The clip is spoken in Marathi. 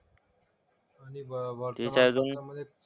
आणि वर्तमानपत्रामधे,